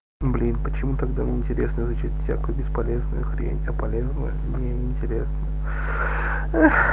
блин почему тогда не интересно изучать всякую бесполезную хрень а полезная мне неинтересно ах